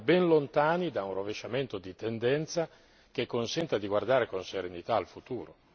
Siamo ben lontani da un rovesciamento di tendenza che consenta di guardare con serenità al futuro.